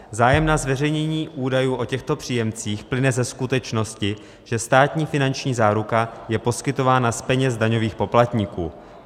Zájem na zveřejnění údajů o těchto příjemcích plyne ze skutečnosti, že státní finanční záruka je poskytována z peněz daňových poplatníků.